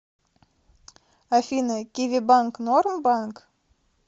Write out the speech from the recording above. афина киви банк норм банк